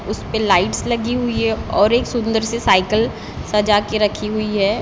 उसपे लाइट्स लगी हुयी हैं और एक सुन्दर से साइकिल सजा के रखी हुई है।